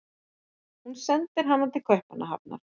Hún sendir hana til Kaupmannahafnar.